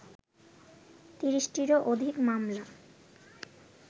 ৩০টিরও অধিক মামলা